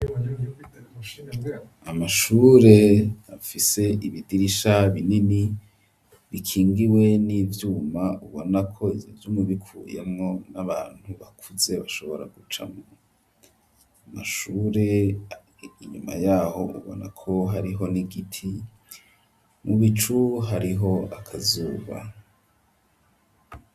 Amashure afise ibidirisha binini bikingiwe n'ivyuma ubonako ubikuyemwo n'abantu bakuze bashobora gucamwo, amashure inyuma yaho ubonako hariho n'igiti, mu bicu hariho akazuba.